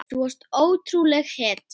Þú varst ótrúleg hetja.